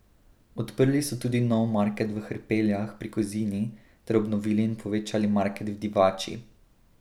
Odprli so tudi nov market v Hrpeljah pri Kozini ter obnovili in povečali market v Divači.